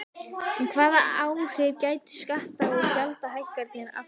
En hvaða áhrif gætu skatta- og gjaldahækkanir haft?